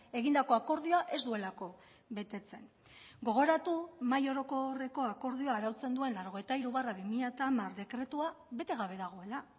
egindako akordioa ez duelako betetzen gogoratu mahai orokorreko akordioa arautzen duen laurogeita hiru barra bi mila hamar dekretua bete gabe dagoela